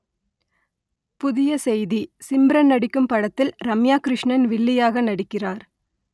புதிய செய்தி சிம்ரன் நடிக்கும் படத்தில் ரம்யா கிருஷ்ணன் வில்லியாக நடிக்கிறார்